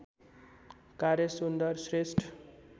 कार्य सुन्दर श्रेष्ठ